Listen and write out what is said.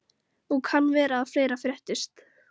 Og kann vera að fleira fréttist.